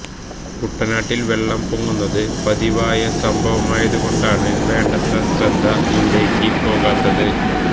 കുട്ടനാട്ടിൽ വെള്ളം പൊങ്ങുന്നത് പതിവായ സംഭവമായതു കൊണ്ടാണ് വേണ്ടത്ര ശ്രദ്ധ ഇവിടേക്ക് പോകാത്തത്